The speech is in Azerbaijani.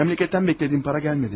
Məmləkətdən gözlədiyim para gəlmədi.